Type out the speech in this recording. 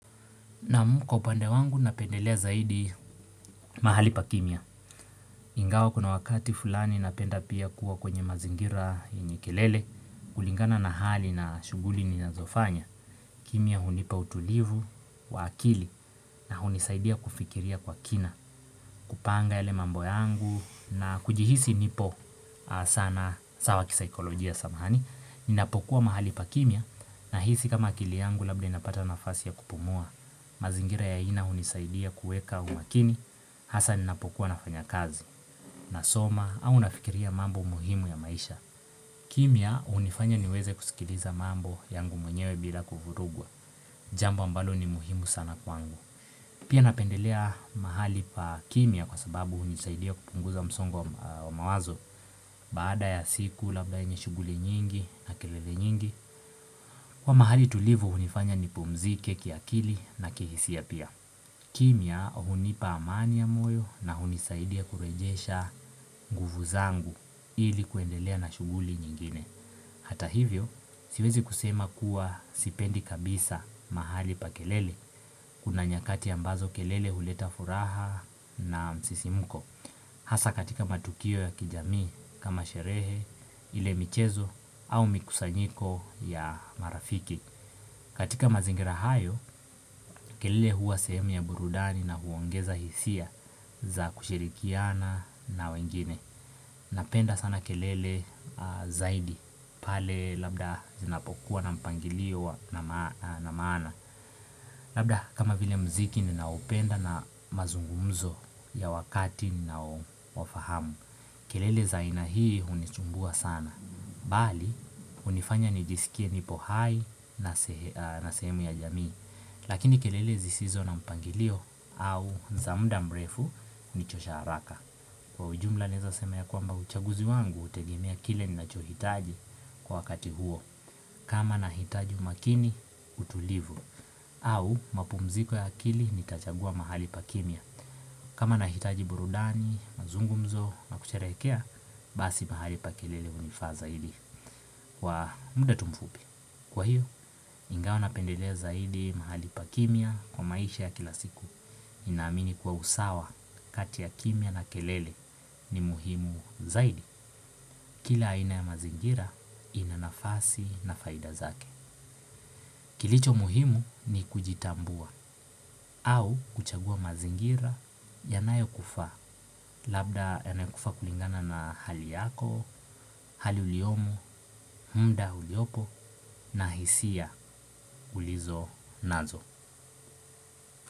Kwa upande wangu napendelea zaidi mahali pa kimya ingawa kuna wakati fulani napenda pia kuwa kwenye mazingira yenye kelele kulingana na hali na shughuli ninazofanya kimya hunipa utulivu wa akili na hunisaidia kufikiria kwa kina kupanga yale mambo yangu na kujihisi nipo sana, sawa kisaikolojia samahani, ninapokuwa mahali pa kimya nahisi kama kili yangu labda inapata nafasi ya kupumua. Mazingira ya aina hunisaidia kuweka umakini hasa ninapokuwa nafanya kazi. Nasoma au nafikiria mambo muhimu ya maisha. Kimya hunifanya niweze kusikiliza mambo yangu mwenyewe bila kuvurugwa. Jambo ambalo ni muhimu sana kwangu. Pia napendelea mahali pa kimya kwa sababu hunisaidia kupunguza msongo wa mawazo. Baada ya siku labda yenye shughuli nyingi na kelele nyingi. Kuwa mahali tulivu hunifanya nipumzike kiakili na kihisia pia. Kimya hunipa amani ya moyo na hunisaidia kurejesha nguvu zangu ili kuendelea na shughuli nyingine. Hata hivyo siwezi kusema kuwa sipendi kabisa mahali pa kelele. Kuna nyakati ambazo kelele huleta furaha na msisimko. Hasa katika matukio ya kijamii kama sherehe, ile michezo au mikusanyiko ya marafiki katika mazingira hayo kelele huwa sehemu ya burudani na huongeza hisia za kushirikiana na wengine. Napenda sana kelele zaidi pale labda zinapokuwa na mpangilio na maana. Labda kama vile muziki ninaoupenda na mazungumzo ya wakati ninao wafahamu kelele za aina hii hunisumbua sana, bali hunifanya nijisikie nipo hai na sehemu ya jamii. Lakini kelele zisizo na mpangilio au za muda mrefu hunichosha haraka. Kwa ujumla naweza seme kwamba uchaguzi wangu, hutegemea kile ninacho hitaji kwa wakati huo. Kama nahitaji umakini, utulivu, au mapumziko ya akili nitachagua mahali pakimya. Kama nahitaji burudani, mazungu mzo na kusherehekea, basi mahali pa kelele hunifaa zaidi kwa muda tu mfupi. Kwa hio, ingawa napendelea zaidi mahali pa kimya kwa maisha ya kila siku. Ninaamini kwa usawa kati ya kimya na kelele ni muhimu zaidi. Kila aina ya mazingira ina nafasi na faida zake. Kilicho muhimu ni kujitambua au kuchagua mazingira yanayo kufaa. Labda yanakufaa kulingana na hali yako, hali uliomo, muda uliopo na hisia ulizo nazo.